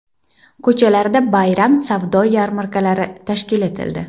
Ko‘chalarda bayram savdo yarmarkalari tashkil etildi.